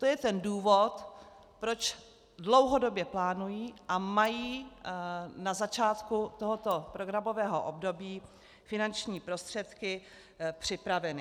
To je ten důvod, proč dlouhodobě plánují a mají na začátku tohoto programového období finanční prostředky připraveny.